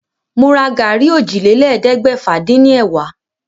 Mo ra gàrí ọ́jilélẹ́ẹ̀ẹ́dẹ́gbẹ́fà-dín-ní- ẹ̀wá.